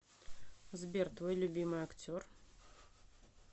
сбер твой любимый актер